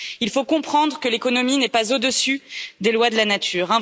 Il faut comprendre que l'économie n'est pas au dessus des lois de la nature.